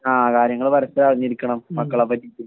ആ കാര്യങ്ങള് പരസ്പ്പരം അറിഞ്ഞിരിക്കണം മക്കളെപ്പറ്റിയിട്ട്